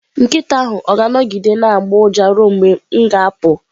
Nkịta ahụ ọ ga-anọgide na-agbọ ụja ruo mgbe m ga-apụ?